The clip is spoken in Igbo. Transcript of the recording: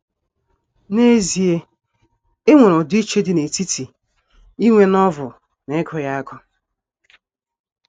N’ezie, e nwere ọdịiche dị n’etiti inwe Novel na ịgụ ya agụ.